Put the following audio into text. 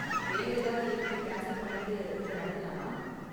வேற ஏதாவது ஈவண்ட்ட கேன்ஸல் பண்ணிட்டு இத நடத்தலாமா?